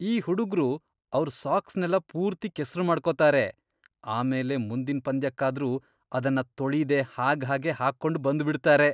ಈ ಹುಡುಗ್ರು ಅವ್ರ್ ಸಾಕ್ಸ್ನೆಲ್ಲ ಪೂರ್ತಿ ಕೆಸ್ರು ಮಾಡ್ಕೊತಾರೆ.. ಆಮೇಲೆ ಮುಂದಿನ್ ಪಂದ್ಯಕ್ಕಾದ್ರೂ ಅವನ್ನ ತೊಳೀದೇ ಹಾಗ್ಹಾಗೇ ಹಾಕೊಂಡ್ ಬಂದ್ಬಿಡ್ತಾರೆ.